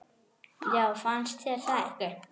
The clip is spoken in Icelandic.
Já, fannst þér það ekki?